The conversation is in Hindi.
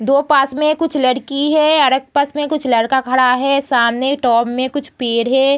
दो पास में कुछ लड़की है और एक पास में कुछ लड़का खड़ा है सामने में कुछ पेड़ हैं।